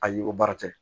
Ayi o baara tɛ